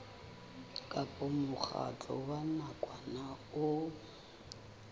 kapa mokgatlo wa nakwana o